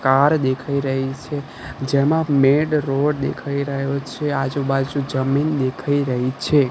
Car દેખાઈ રહી છે જેમાં મેઇન રોડ દેખાઈ રહ્યો છે આજુબાજુ જમીન દેખાઈ રહી છે.